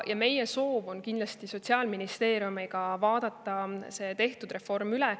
Meie soov on kindlasti vaadata see reform koos Sotsiaalministeeriumiga üle.